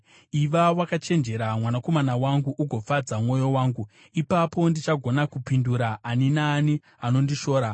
Iva wakachenjera, mwanakomana wangu, ugofadza mwoyo wangu; ipapo ndichagona kupindura ani naani anondishora.